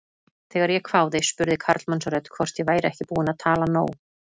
Þegar ég hváði spurði karlmannsrödd hvort ég væri ekki búin að tala nóg.